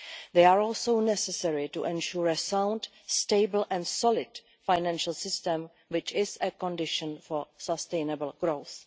They are also necessary to ensure a sound, stable and solid financial system, which is a condition for sustainable growth.